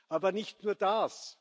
Aber nicht nur das.